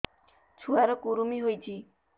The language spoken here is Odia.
ଛୁଆ ର କୁରୁମି ହୋଇଛି